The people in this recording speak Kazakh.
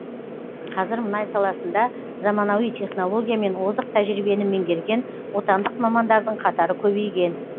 қазір мұнай саласында заманауи технология мен озық тәжірибені меңгерген отандық мамандардың қатары көбейген